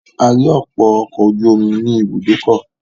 A rí ọ̀pọ̀ ọkọ̀ ojú omi ní ibùdókọ̀.